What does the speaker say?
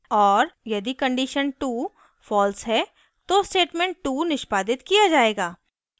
और यदि condition 2 false है तो statement 2 निष्पादित किया जायेगा